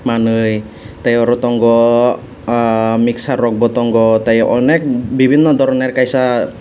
manui tei oro tongo mixture rok bo tongo tei onek bibinno doroner kaisa.